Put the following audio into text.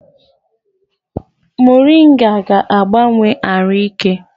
Morịnga ga na-agbanwanye arụ ike